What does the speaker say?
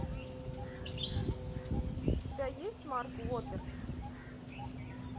у тебя есть марк уотерс